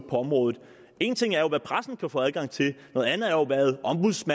på området en ting er hvad pressen kan få adgang til en